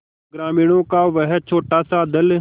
ग्रामीणों का वह छोटासा दल